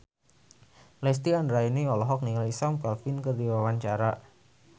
Lesti Andryani olohok ningali Sam Claflin keur diwawancara